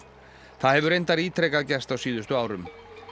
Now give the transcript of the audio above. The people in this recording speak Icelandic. það hefur reyndar ítrekað gerst á síðustu árum